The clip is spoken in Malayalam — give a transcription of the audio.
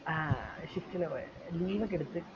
ആഹ് shift ല പോയത് room ഒക്കെ എടുത്തു